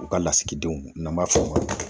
U ka lasigidenw n'an b'a fɔ o ma